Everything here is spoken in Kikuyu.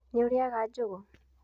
Nĩ ũrĩaga njũgũ.